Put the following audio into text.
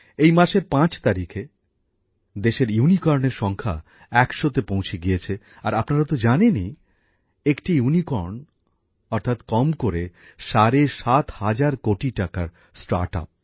এই মাসের পাঁচ তারিখে দেশে ইউনিকর্নের সংখ্যা একশোতে পৌঁছে গিয়েছে আর আপনারা তো জানেনই একটি ইউনিকর্ন মানে হল কম করে সাড়ে সাত হাজার কোটি টাকার স্টার্টআপ